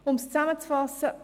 Um es zusammenzufassen: